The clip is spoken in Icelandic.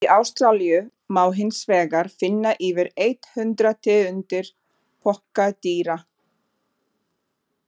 Í Ástralíu má hinsvegar finna yfir eitt hundrað tegundir pokadýra.